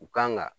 U kan ka